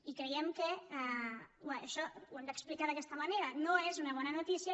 i creiem que això ho hem d’explicar d’aquesta manera no és una bona notícia